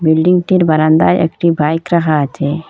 বিল্ডিংটির বারান্দায় একটি বাইক রাখা আছে।